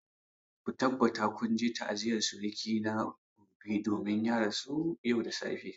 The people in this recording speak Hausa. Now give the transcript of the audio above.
Ku tabbata kun je ta'aziyar suruki na gobe domin ya rasu yau da safe!